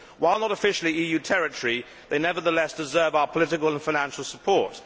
While not officially EU territory, they nevertheless deserve our political and financial support.